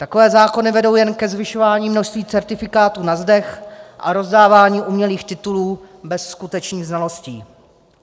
Takové zákony vedou jen ke zvyšování množství certifikátů na zdech a rozdávání umělých titulů bez skutečných znalostí.